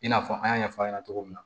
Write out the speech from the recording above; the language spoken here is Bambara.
I n'a fɔ an y'a ɲɛfɔ aw ɲɛna cogo min na